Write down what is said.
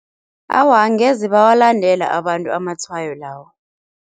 Awa angeze bawalandela abantu amatshwayo lawo.